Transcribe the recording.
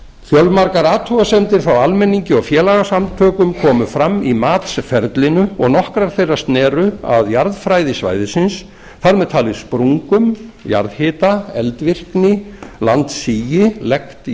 fjölmargar athugasemdir frá almenningi og félagasamtökum komu fram í matsferlinu og nokkrar þeirra sneru að jarðfræði svæðisins þar með talið sprungum jarðhita eldvirkni landssigi best jarðlaga